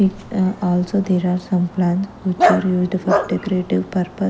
um ah also there are some plans which are used for decorative purpose.